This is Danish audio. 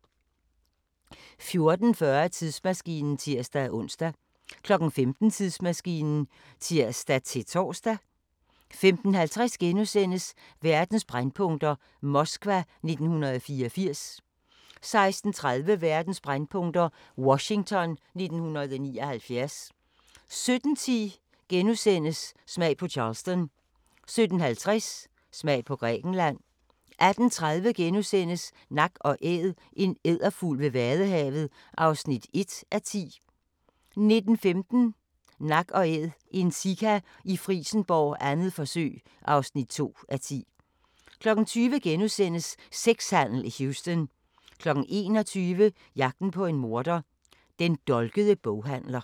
14:40: Tidsmaskinen (tir-ons) 15:00: Tidsmaskinen (tir-tor) 15:50: Verdens brændpunkter: Moskva 1984 * 16:30: Verdens brændpunkter: Washington 1979 17:10: Smag på Charleston * 17:50: Smag på Grækenland 18:30: Nak & Æd – en edderfugl ved vadehavet (1:10)* 19:15: Nak & Æd – en sika i Frijsenborg, 2. forsøg (2:10) 20:00: Sexhandel i Houston * 21:00: Jagten på en morder: Den dolkede boghandler